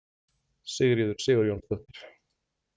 Sigríður Sigurjónsdóttir.